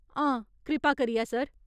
हां, कृपा करियै, सर।